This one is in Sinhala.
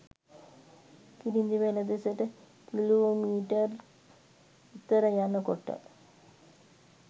කිරිඳිවැල දෙසට කිලෝමීටර්ක් විතර යන කොට